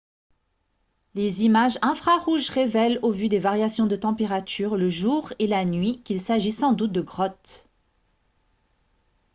les images infrarouges révèlent au vu des variations de température le jour et la nuit qu'il s'agit sans doute de grottes